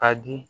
A di